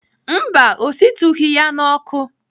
Mba, ọ shitughị ya n'ọkụ.